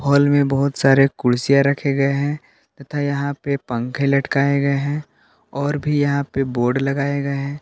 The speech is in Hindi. बगल में बहुत सारे कुर्सियां रखे गए हैं तथा यहां पे पंखे लटकाए गए हैं और भी यहां पे बोर्ड लगाए गए हैं।